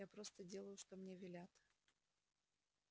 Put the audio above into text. я просто делаю что мне велят